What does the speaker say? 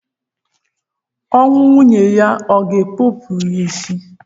Ọnwụ nwunye ya o ga-ekopu ya isi?